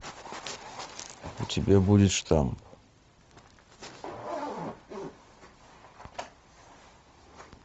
у тебя будет штамм